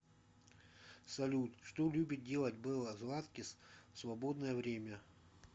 салют что любит делать белла златкис в свободное время